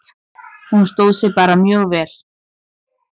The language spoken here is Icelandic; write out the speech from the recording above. Hún stóð sig bara mjög vel.